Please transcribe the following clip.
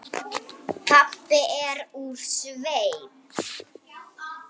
Pabbi er úr sveit.